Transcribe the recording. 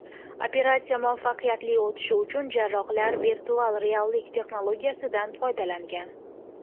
Operatsiya muvaffaqiyatli o‘tishi uchun jarrohlar virtual reallik texnologiyasidan foydalangan.